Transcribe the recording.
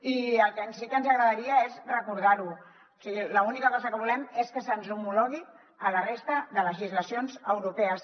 i el que sí que ens agradaria és recordarho o sigui l’única cosa que volem és que se’ns homologui a la resta de legislacions europees